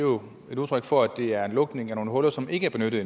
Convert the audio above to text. jo et udtryk for at det er en lukning af nogle huller som ikke er benyttet